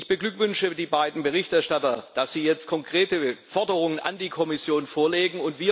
Ich beglückwünsche die beiden Berichterstatter dazu, dass sie jetzt konkrete Forderungen an die Kommission vorlegen.